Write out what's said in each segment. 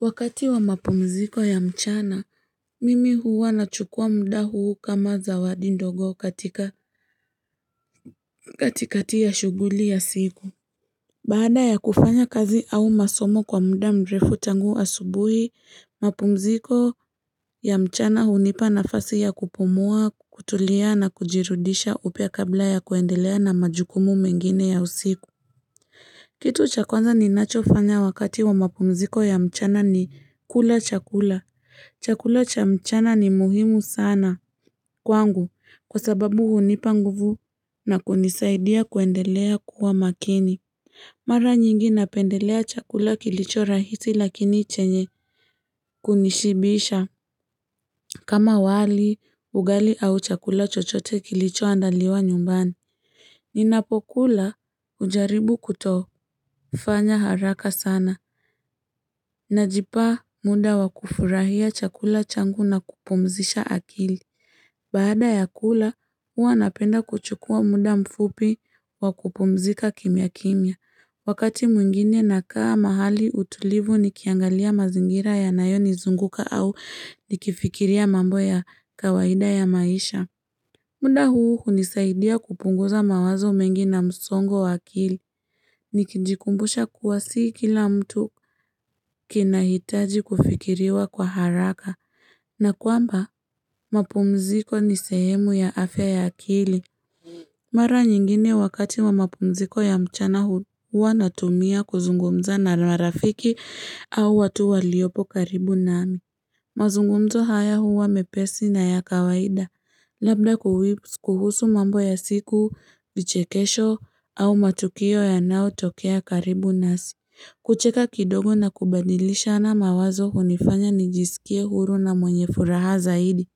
Wakati wa mapumziko ya mchana, mimi huwa nachukua muda huu kama zawadi ndogo kati kati ya shuguli ya siku. Baada ya kufanya kazi au masomo kwa muda mrefu tangu asubuhi, mapumziko ya mchana hunipa nafasi ya kupumua, kutulia na kujirudisha upya kabla ya kuendelea na majukumu mengine ya usiku. Kitu cha kwanza ninacho fanya wakati wa mapumziko ya mchana ni kula chakula. Chakula cha mchana ni muhimu sana kwangu kwa sababu hunipa nguvu na kunisaidia kuendelea kuwa makini. Mara nyingi napendelea chakula kilicho rahisi lakini chenye kunishibisha. Kama wali, ugali au chakula chochote kilicho andaliwa nyumbani. Ninapokula ujaribu kutofanya haraka sana. Najipa muda wa kufurahia chakula changu na kupumzisha akili. Baada ya kula, huwa napenda kuchukua muda mfupi wa kupumzika kimya kimya. Wakati mwingine nakaa mahali utulivu nikiangalia mazingira yanayo nizunguka au nikifikiria mambo ya kawaida ya maisha. Muda huu nisaidia kupunguza mawazo mengi na msongo wa akili. Nikijikumbusha kuwa si kila mtu kinahitaji kufikiriwa kwa haraka. Na kwamba, mapumziko ni sehemu ya afya ya akili. Mara nyingine wakati wa mapumziko ya mchana huwa natumia kuzungumza na marafiki au watu waliopo karibu nami. Mazungumzo haya huwa mepesi na ya kawaida. Labda kuhusu mambo ya siku, vichekesho au matukio yanaotokea karibu nasi. Kucheka kidogo na kubadilishana mawazo hunifanya nijisikie huru na mwenye furaha zaidi.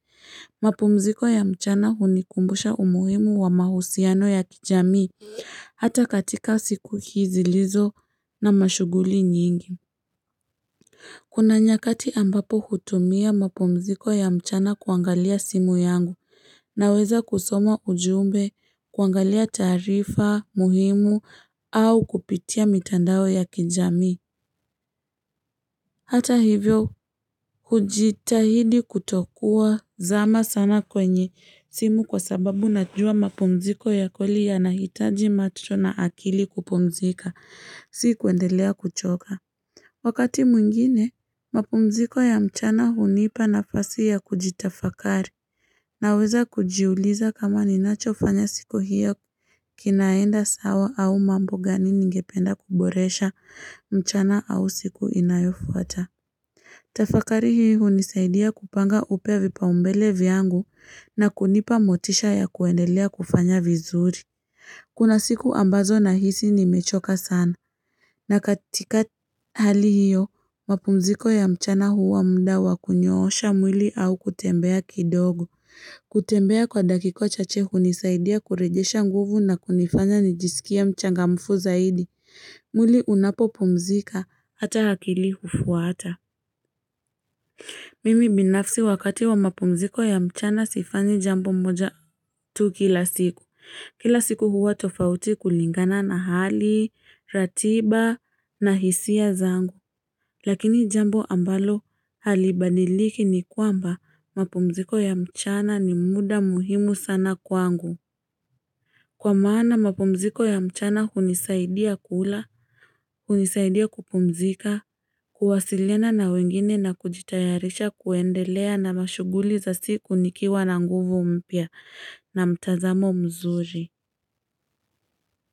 Mapumziko ya mchana hunikumbusha umuhimu wa mahusiano ya kijamii hata katika siku hizi zilizo na mashuguli nyingi. Kuna nyakati ambapo hutumia mapumziko ya mchana kuangalia simu yangu naweza kusoma ujumbe kuangalia taarifa muhimu au kupitia mitandao ya kijamii. Hata hivyo, hujitahidi kutokua zama sana kwenye simu kwa sababu najua mapumziko ya kweli yanahitaji macho na akili kupumzika, si kuendelea kuchoka. Wakati mwingine, mapumziko ya mchana hunipa nafasi ya kujitafakari naweza kujiuliza kama ninacho fanya siku hiyo kinaenda sawa au mambo gani ningependa kuboresha mchana au siku inayofuata. Tafakari hii hunisaidia kupanga upya vipa umbele vyangu na kunipa motisha ya kuendelea kufanya vizuri. Kuna siku ambazo nahisi ni mechoka sana. Na katika hali hiyo, mapumziko ya mchana huwa muda wa kunyoosha mwili au kutembea kidogo. Kutembea kwa dakika chache hunisaidia kurejesha nguvu na kunifanya nijisikie mchangamfu zaidi. Mwili unapo pumzika, hata akili hufuata. Mimi binafsi wakati wa mapumziko ya mchana sifanyi jambo moja tu kila siku. Kila siku huwa tofauti kulingana na hali, ratiba na hisia zangu. Lakini jambo ambalo halibadiliki ni kwamba mapumziko ya mchana ni muda muhimu sana kwangu. Kwa maana mapumziko ya mchana hunisaidia kula, hunisaidia kupumzika, kuwasiliana na wengine na kujitayarisha kuendelea na mashuguli za siku nikiwa na nguvu mpya na mtazamo mzuri.